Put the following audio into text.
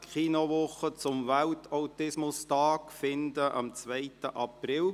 Die Kinowoche zum Welt-Autismus-Tag beginnt am 2. April.